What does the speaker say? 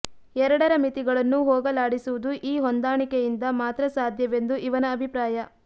ಎರಡರ ಮಿತಿಗಳನ್ನು ಹೋಗಲಾಡಿಸುವುದು ಈ ಹೊಂದಾಣಿಕೆಯಿಂದ ಮಾತ್ರ ಸಾಧ್ಯವೆಂದು ಇವನ ಅಭಿಪ್ರಾಯ